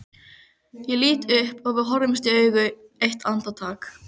Ég lít upp og við horfumst í augu eitt andartak.